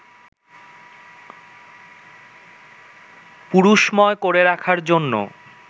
পুরুষময় করে রাখার জন্য